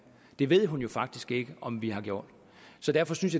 det ved hun jo faktisk ikke om vi har gjort så derfor synes